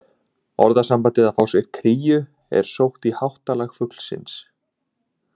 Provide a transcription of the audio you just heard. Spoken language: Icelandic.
Orðasambandið að fá sér kríu er sótt í háttalag fuglsins.